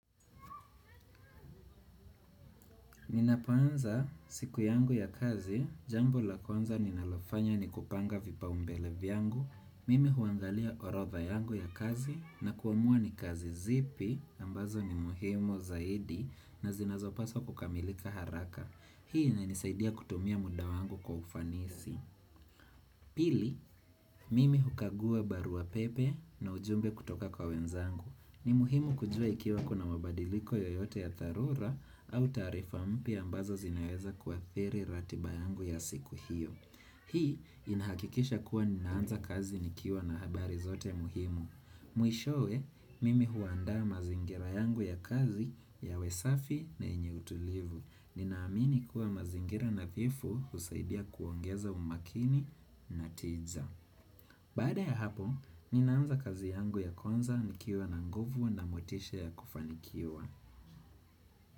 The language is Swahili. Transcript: Ninapoanza siku yangu ya kazi, jambo la kwanza ninalofanya ni kupanga vipaumbele vyangu, mimi huangalia orodha yangu ya kazi na kuamua ni kazi zipi ambazo ni muhimu zaidi na zinazopaswa kukamilika haraka. Hii inanisaidia kutumia muda wangu kwa ufanisi. Pili, mimi hukagua barua pepe na ujumbe kutoka kwa wenzangu. Ni muhimu kujua ikiwa kuna mabadiliko yoyote ya dharura au tarifa mpya ambazo zinaweza kuathiri ratiba yangu ya siku hiyo. Hii inahakikisha kuwa ninaanza kazi nikiwa na habari zote muhimu. Mwishowe, mimi huandaa mazingira yangu ya kazi yawe safi na yenye utulivu. Ninaamini kuwa mazingira na nadhifu husaidia kuongeza umakini na tiza. Bada ya hapo, ninaanza kazi yangu ya kwanza nikiwa na nguvu na motishe ya kufanikiwa.